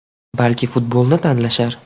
Balki futbolni tanlashar.